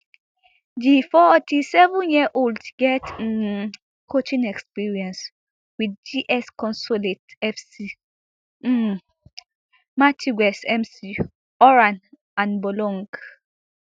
di forty-sevenyearold get um coaching experience wit gs consolate fc um martigues mc oran and boulogne